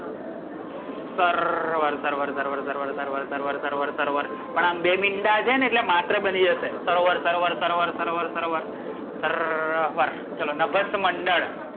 સરરરર વર સરવર, સરવર સરવર સરવર સરવર પણ બે મિંડા છે ને આમ એટ્લે માત્ર બની જશે. સરવર સરવર સરવર સરવર, સરરરર વર ચલો, નભસ્ત મંડળ.